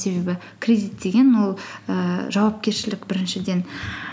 себебі кредит деген ол ііі жауапкершілік біріншіден